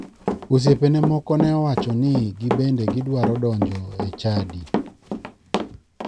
Osiepene moko ne owacho ni gibende gidwaro donjo e chadi.